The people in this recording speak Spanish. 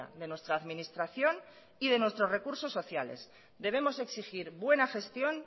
de nuestra administración y de nuestros recursos sociales debemos exigir buena gestión